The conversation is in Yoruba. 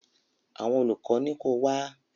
Àwọn olùkọ́ ní ko wá?